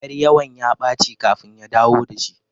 Ƴar yawan ya ɓaci kafin ya dawo dashi